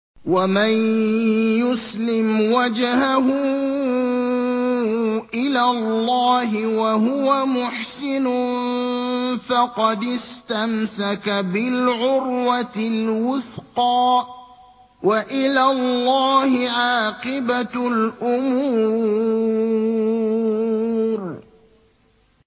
۞ وَمَن يُسْلِمْ وَجْهَهُ إِلَى اللَّهِ وَهُوَ مُحْسِنٌ فَقَدِ اسْتَمْسَكَ بِالْعُرْوَةِ الْوُثْقَىٰ ۗ وَإِلَى اللَّهِ عَاقِبَةُ الْأُمُورِ